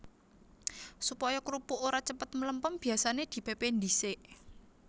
Supaya krupuk ora cepet mlempem biyasané dipépé dhisik